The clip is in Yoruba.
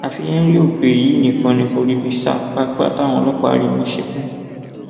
àfi henry ọbẹ yìí nìkan ni kò ríbi sá gba gba ti àwọn ọlọpàá rí mú ṣìnkún